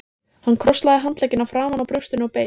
Hann krosslagði handleggina framan á brjóstinu og beið.